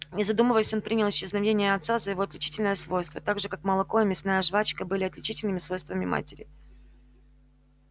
не задумываясь он принял исчезновение отца за его отличительное свойство так же как молоко и мясная жвачка были отличительными свойствами матери